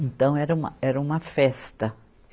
Então, era uma, era uma festa.